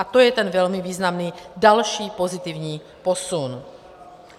A to je ten velmi významný další pozitivní posun.